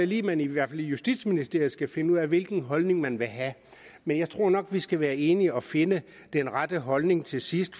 lige man i hvert fald i justitsministeriet skal finde ud af hvilken holdning man vil have men jeg tror nok vi skal blive enige og finde den rette holdning til sidst